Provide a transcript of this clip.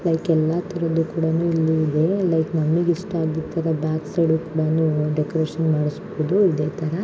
Like ಎಲ್ಲ ತರದ್ದು ಕೂಡಾನು ಇಲ್ಲೇ ಇದೆ ಲೈಕ್ ನಮಗೆ ಇಷ್ಟ ಆಗಿದ್ ತರಾ ಬ್ಯಾಕ್ ಸೈಡ್ ಡೆಕೋರೇಷನ್ ಮಾಡಿಸಬಹುದು ಇದೇ ತರ.